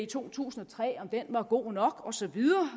to tusind og tre var god nok osv